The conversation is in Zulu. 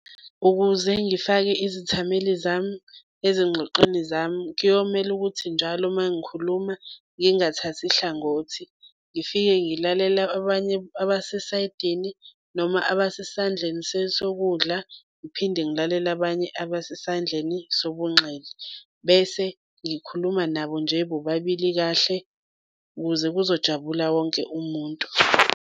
Ukuze ngifake izithameli zami ezingxoxweni zami, kuyomele ukuthi njalo uma ngikhuluma ngingathathi hlangothi, ngifike ngilalele abanye abasesayidini noma abesesandleni sokudla ngiphinde ngilalele abanye abasesandleni sobunxele. Bese ngikhuluma nabo nje bobabili kahle ukuze kuzojabula wonke umuntu.